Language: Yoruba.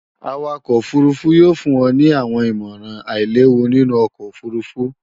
Awakọ òfurufú yóò fún ọ ní àwọn ìmọ̀ràn àílewu nínú ọkọ̀ òfurufú